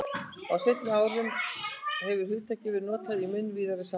Á seinni árum hefur hugtakið verið notað í mun víðara samhengi.